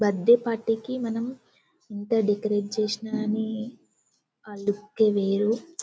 birthday party కి మనం ఎంత డెకరేట్ చేసిన కానీ ఆ లుక్ వేరు